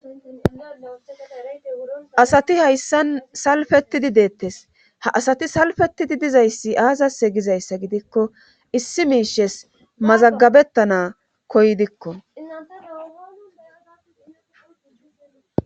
Asati hayssan salfettidi deettes ha asati salfettidi dizayssi aazase gizayssa gidikko issi miishes mazagabettana koyidikko.